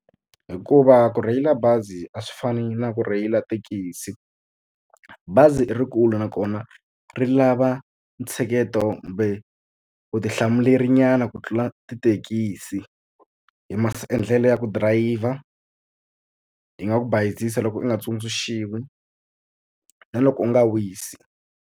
Hikuva ku rheyila bazi a swi fani na ku rheyila thekisi bazi i ri kulu nakona ri lava ntshiketo kumbe vutihlamulerinyana ku tlula tithekisi hi ndlela ya ku dirayivha yi nga ku bayizisa loko u nga tsundzuxiwa na loko u nga wisi.